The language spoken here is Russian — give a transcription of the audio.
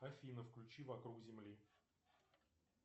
афина включи вокруг земли